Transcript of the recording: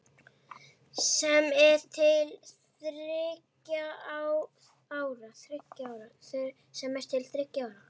sem er til þriggja ára.